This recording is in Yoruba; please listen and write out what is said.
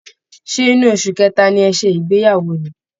Ṣé inú oṣu kẹta ni ẹ ṣé ìgbeyàwó ni?